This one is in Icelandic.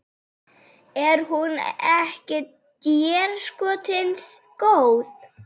Er hún ekki déskoti góð?